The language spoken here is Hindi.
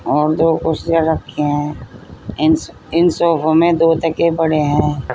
और दो कुर्सियां रखी हैं। इंस इन सोफों में दो तकिए पड़े हैं।